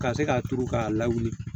Ka se k'a turu k'a lawuli